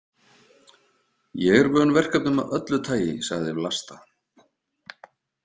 Ég er vön verkefnum af öllu tagi, sagði Vlasta.